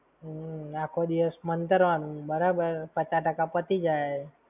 હમ્મ, આખો દિવસ મંતરવાનું. બરાબર, પચા ટાકા પતી જાય